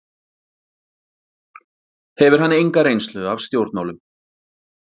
Hefur hann enga reynslu af stjórnmálum